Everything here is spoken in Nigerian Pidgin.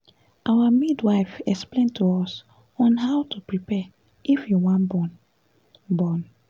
our midwife explain to us on how to prepare if you wan born born